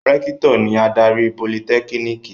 Rẹ́kítọ̀ ni adarí Politẹ́kínìkì.